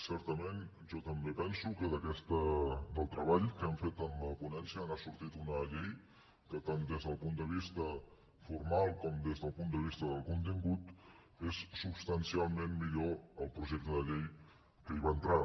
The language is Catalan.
certament jo també penso que del treball que hem fet en la ponència n’ha sortit una llei que tant des del punt de vista formal com des del punt de vista del contingut és substancialment millor que el projecte de llei que hi va entrar